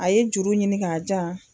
A ye juru ɲini k'a jan.